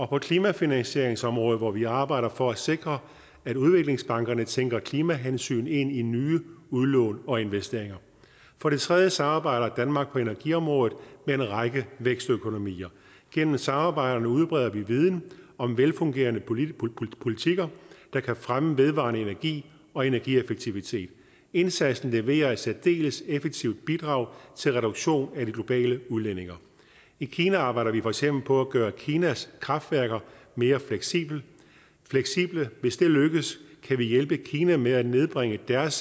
på klimafinansieringsområdet hvor vi arbejder for at sikre at udviklingsbankerne tænker klimahensyn ind i nye udlån og investeringer for det tredje samarbejder danmark på energiområdet med en række vækstøkonomier gennem samarbejderne udbreder vi viden om velfungerende politikker politikker der kan fremme vedvarende energi og energieffektivitet indsatsen leverer et særdeles effektivt bidrag til reduktion af de globale udledninger i kina arbejder vi for eksempel på at gøre kinas kraftværker mere fleksible hvis det lykkes kan vi hjælpe kina med at nedbringe deres